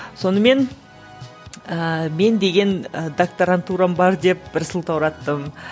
сонымен ыыы мен деген ы докторантурам бар деп бір сылтаураттым